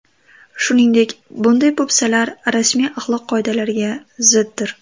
Shuningdek, bunday po‘pisalar rasmiy axloq qoidalariga ziddir.